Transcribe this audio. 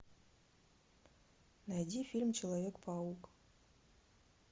найди фильм человек паук